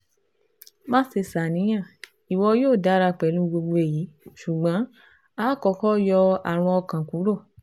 Maṣe ṣàníyàn, iwọ yoo dara pẹlu gbogbo eyi ṣugbọn akọkọ yọ arun ọkàn kuro